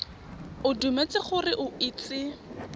o dumetse gore o itse